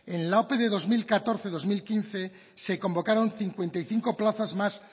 en la ope del dos mil catorce dos mil quince se convocaron cincuenta y cinco plazas más